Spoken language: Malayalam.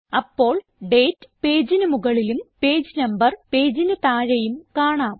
അപ്പോൾ ഡേറ്റ് പേജിന് മുകളിലും പേജ് നമ്പർ പേജിന് താഴെയും കാണാം